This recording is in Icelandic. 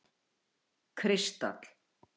Kristall